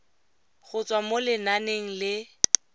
go tswa mo lenaneng le